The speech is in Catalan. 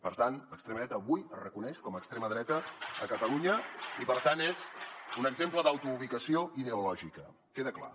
per tant l’extrema dreta avui es reconeix com a extrema dreta a catalunya i per tant és un exemple d’autoubicació ideològica queda clar